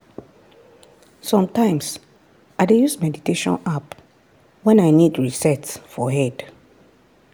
sometimes i dey use meditation app when i need reset for head.